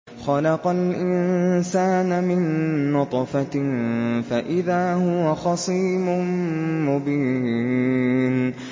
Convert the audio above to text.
خَلَقَ الْإِنسَانَ مِن نُّطْفَةٍ فَإِذَا هُوَ خَصِيمٌ مُّبِينٌ